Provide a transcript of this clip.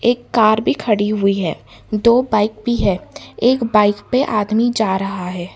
एक कार भी खड़ी हुई है। दो बाइक भी है। एक बाइक पे आदमी जा रहा है।